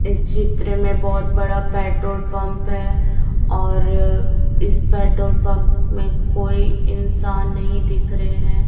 इस चित्र में बहोत बड़ा पेट्रोल पंप है और इस पेट्रोल पंप में कोई इंसान नहीं दिख रहे हैं।